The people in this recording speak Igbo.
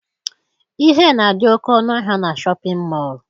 Ihe na-adị oke ọnụ ahịa na shọpịn mọọ